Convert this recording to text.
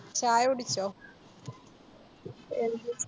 ചായ കുടിച്ചോ